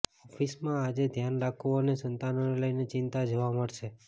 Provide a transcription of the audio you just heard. ઓફિસમાં આજે ધ્યાન રાખવું અને સંતાનોને લઈને ચિંતા જોવા મળશે